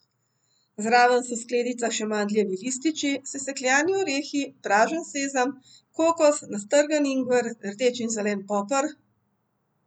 Zraven so v skledicah še mandljevi lističi, sesekljani orehi, pražen sezam, kokos, nastrgan ingver, rdeč in zelen poper ...